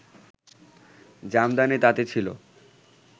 জামদানি তাঁতি ছিল